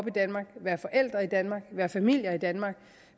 i danmark være forældre i danmark være familie i danmark